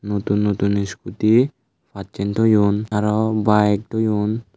nutun nutun iskuti pacchen toyon aro bayek toyon.